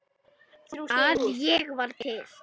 að ég var til.